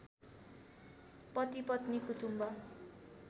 पतिपत्नी कुटुम्भ